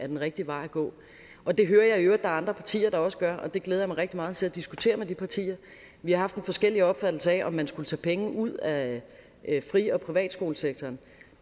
den rigtige vej at gå og det hører jeg i øvrigt andre partier der også gør og det glæder jeg mig rigtig meget til at diskutere med de partier vi har haft en forskellig opfattelse af om man skulle tage penge ud af fri og privatskolesektoren